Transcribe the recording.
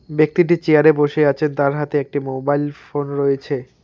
ব্যক্তিটি চেয়ার -এ বসে আছেন তার হাতে একটি মোবাইল ফোন রয়েছে।